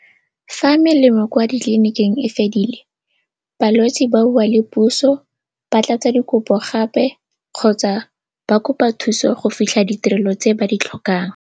Fa melemo kwa ditliliniking e fedile balwetse ba bua le puso, ba tlatsa dikopo gape kgotsa ba kopa thuso go fitlha ditirelo tse ba di tlhokang.